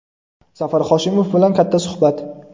Zafar Hoshimov bilan katta suhbat.